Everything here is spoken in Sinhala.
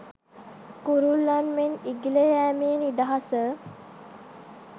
කුරුල්ලන් මෙන් ඉගිල යෑමේ නිදහස